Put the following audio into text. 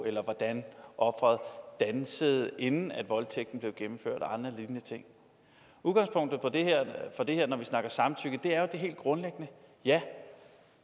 eller hvordan offeret dansede inden voldtægten blev gennemført og andre lignende ting udgangspunktet for det her når vi snakker samtykke er jo det helt grundlæggende